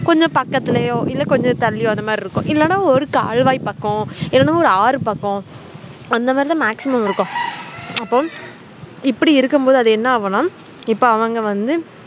கொஞ்சம் பக்கத்தலையோ இல்ல கொஞ்சம் தள்ளியோ அது மமாறிஇருக்கும் இல்ல ஒரு கால்வாய் பக்கம் இல்லன ஒரு ஆறு பக்கம் அந்த மாறி தான maximum இருக்கும் அப்போ இப்புடி இருக்கும் போது அது என்ன ஆகும்னா இப்போ அவங்க வந்து